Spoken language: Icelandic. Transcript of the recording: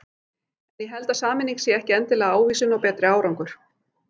En ég held að sameining sé ekki endilega ávísun á betri árangur.